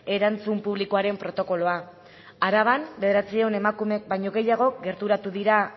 erantzun publikoaren protokoloa araban bederatziehun emakumek baino gehiago gerturatu dira